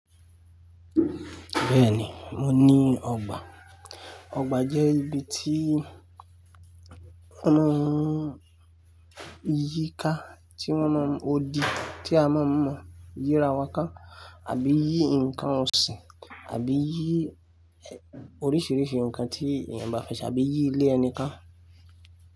Bẹ́ẹ̀ni, mo ní ọgbà. Ọgbà jẹ́ ibi tí wọ́n ma n yí i ka, tí wọ́n ma odi, tí a ma mọ yí ìirawa ká àbí yí ǹkan ọ̀sìn, àbí yí oríṣìíríṣìí ǹkan tí èèyàn bá fẹ́ ṣe àbí yí ilé ẹni ka.